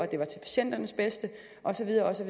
det var til patienternes bedste og så videre og så